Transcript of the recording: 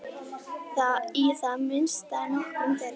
Í það minnsta nokkrum þeirra.